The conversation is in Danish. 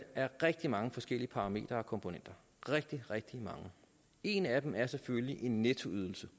rigtig mange forskellige parametre og komponenter rigtig rigtig mange en af dem er selvfølgelig en nettoydelse